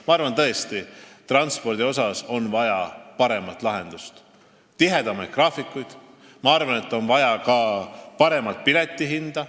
Ma arvan tõesti, et transpordis on vaja paremat lahendust, tihedamaid graafikuid, ma arvan, et on vaja ka paremat piletihinda.